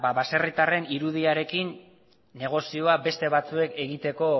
ba baserritarren irudiarekin negozioa beste batzuek egiteko